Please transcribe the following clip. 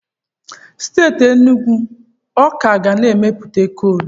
Steeti Enugu ọ ka ga na-emepụta koolu?